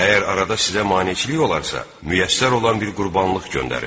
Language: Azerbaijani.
Əgər arada sizə maneçilik olarsa, müyəssər olan bir qurbanlıq göndərin.